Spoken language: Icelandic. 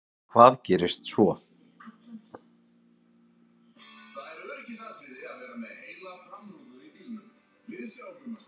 Hvað gerist svo?